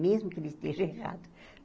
Mesmo que ele esteja errado.